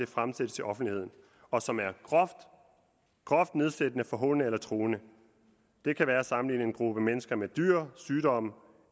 fremsættes i offentligheden og som er groft nedsættende forhånende eller truende det kan være at sammenligne en gruppe mennesker med dyr sygdomme